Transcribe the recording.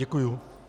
Děkuji.